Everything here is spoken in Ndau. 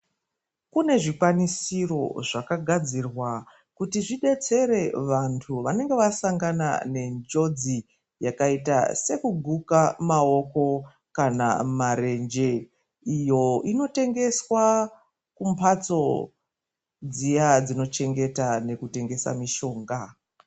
Kune zvikwanisiro zvakagadzirwa kuti zvibetsere vantu vanenga vasangana nenjodzi yakaita sekuguka maoko kana marenje. Iyo inotengeswa kumhatso dziya dzinochengeta nekutengesa mushonga.